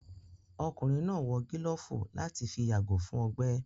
Ọkùnrin náà wò gílófù láti fi yàgò fún ọgbẹ́